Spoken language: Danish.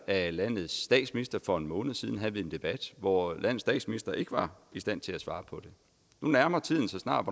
af landets statsminister for en måned siden havde vi en debat hvor landets statsminister ikke var i stand til at svare på det nu nærmer tiden sig snart